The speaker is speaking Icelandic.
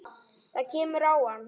Það kemur á hann.